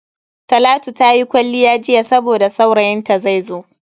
Talatu ta yi kwalliya jiya saboda saurayin ta zaizo.